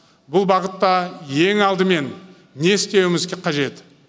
бұл бағытта ең алдымен не істеуіміз қажет